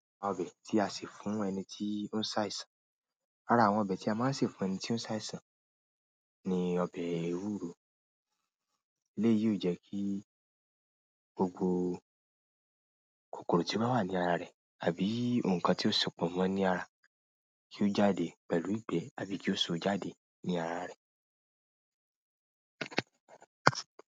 Ọbẹ̀ tí a sè fún ẹni tí ó ń ṣàìsàn. Ara àwọn ọbẹ̀ tí a máa ń sè fún ẹni tí ó ń ṣàìsàn ni ọbẹ̀ ewúro. Eléyìí yóò jẹ́ kí gbogbo kòkòrò tí ó bá wà ní ara rẹ̀ àbí ohun kan tí ó sopọ̀ mọ́ ọ ní ara kí ó jáde pẹ̀lú ìgbẹ́ àbí kí ó so jáde ní ara rẹ̀.